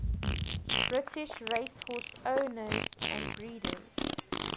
british racehorse owners and breeders